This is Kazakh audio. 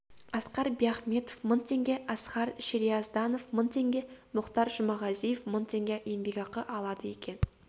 асқар биахметов мың теңге асқар шериязданов мың теңге мұхтар жұмағазиев мың теңге еңбекақы алады екен